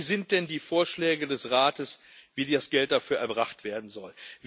Was sind denn die Vorschläge des Rates, wie das Geld dafür erbracht werden soll?